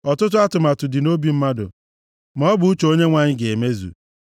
Ọtụtụ atụmatụ dị nʼobi mmadụ; maọbụ uche Onyenwe anyị ga-emezu.